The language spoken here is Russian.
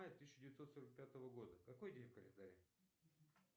тысяча девятьсот сорок пятого года какой день в календаре